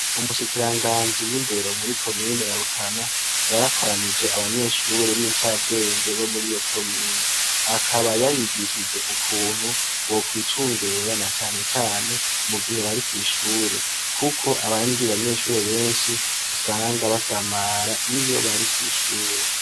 Ubushikiranganji bw'indero muri komine ya Rutana yarakoranije abanyeshure b'incabwenge bo muriyo komine. Akaba yabigishije ukuntu bokwicungera na cane cane mu gihe bari kw'ishure, kuko abandi banyeshure benshi usanga basamara iyo bari kw'ishure.